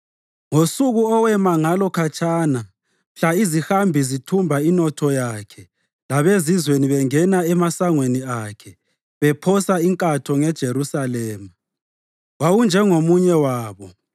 Ngosuku owema ngalo khatshana mhla izihambi zithumba inotho yakhe labezizweni bengena emasangweni akhe bephosa inkatho ngeJerusalema, wawunjengomunye wabo.